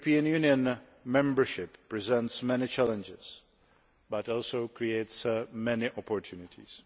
European Union membership presents many challenges but also creates many opportunities.